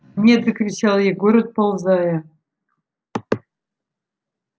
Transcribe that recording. нет закричал егор отползая